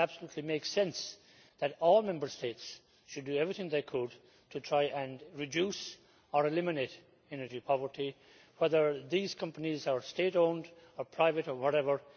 It absolutely make sense that all Member States should do everything they could to try and reduce or eliminate energy poverty, whether these companies are state owned, private or whatever.